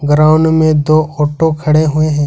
Ground में दो auto खड़े हुए हैं।